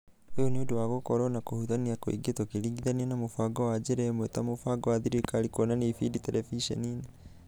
ũyũ nĩũndũ wa gũkorwo na kũhutania kũingĩ tũkĩringithania na mũbango wa njĩra ĩmwe ta mũbango wa thirikari wa kuonania ibindi terebiceni-inĩ.